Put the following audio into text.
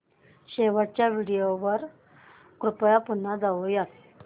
शेवटच्या व्हिडिओ वर कृपया पुन्हा जाऊयात